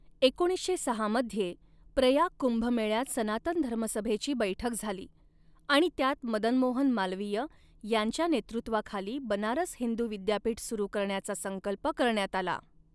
एकोणीसशे सहा मध्ये, प्रयाग कुंभमेळ्यात सनातन धर्मसभेची बैठक झाली आणि त्यात मदनमोहन मालवीय यांच्या नेतृत्वाखाली बनारस हिंदू विद्यापीठ सुरू करण्याचा संकल्प करण्यात आला.